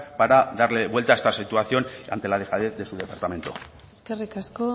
para darle vuelta a esta situación ante la dejadez de su departamento eskerrik asko